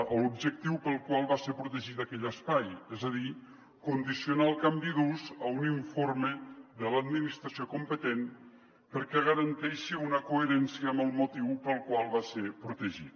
a l’objectiu pel qual va ser protegit aquell espai és a dir condicionar el canvi d’ús a un informe de l’administració competent perquè garanteixi una coherència amb el motiu pel qual va ser protegit